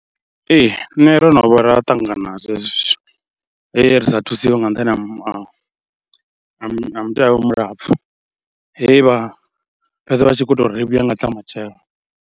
Ee nṋe ro no vha ra ṱangana nazwo hezwo zwithu, he ri sa thusiwe nga nṱhani ha ha mutevhe mulapfhu, he vha fhedza vha tshi khou tou ri vhuye nga tsha matshelo.